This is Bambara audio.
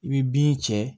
I bɛ bin cɛ